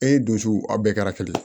E donsu aw bɛɛ kɛra kelen ye